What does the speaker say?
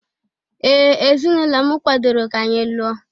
Ee! Ezinụlọ m kwadoro ka anyị lụọ.